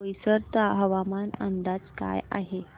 बोईसर हवामान अंदाज काय आहे